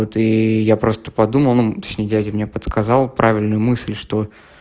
вот и я просто подумал ну точнее дядя мне подсказал правильную мысль что